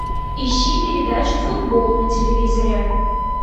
ищи передачу футбол на телевизоре